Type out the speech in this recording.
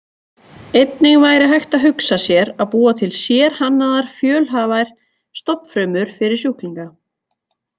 Einnig væri hægt að hugsa sér að búa til sérhannaðar fjölhæfar stofnfrumur fyrir sjúklinga.